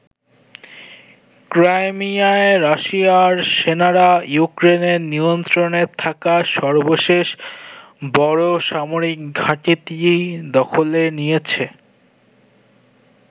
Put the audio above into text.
ক্রাইমিয়ায় রাশিয়ার সেনারা ইউক্রেনের নিয়ন্ত্রণে থাকা সর্বশেষ বড় সামরিক ঘাঁটিটি দখলে নিয়েছে।